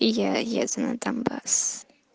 и я еду на донбасс